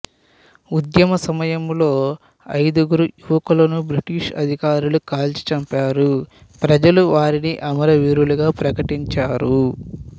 ఉద్యమ సమయంలో ఐదుగురు యువకులను బ్రిటిష్ అధికారులు కాల్చి చంపారు ప్రజలు వారిని అమరవీరులుగా ప్రకటించారు